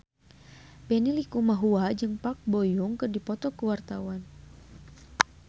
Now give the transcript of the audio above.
Benny Likumahua jeung Park Bo Yung keur dipoto ku wartawan